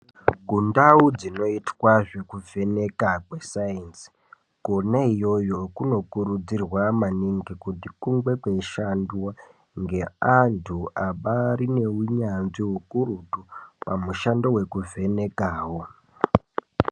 Kundau dzinoitwa zvekuvhenekwa kwescience Kona iyoyo kuno kurudzirwa maningi kuti kunge kweishandwa ngeandu abari nehunyanzvi kakurutu pamushando wekuvhenekawo.